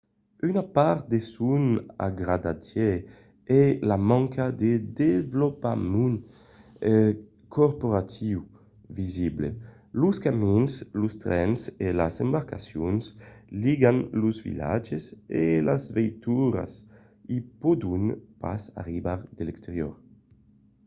una part de son agradatge es la manca de desvolopament corporatiiu visible. los camins los trens e las embarcacions ligan los vilatges e las veituras i pòdon pas arribar de l'exterior